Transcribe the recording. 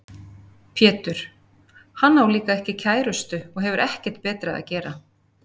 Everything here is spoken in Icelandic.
Pétur: Hann á líka ekki kærustu og hefur ekkert betra að gera.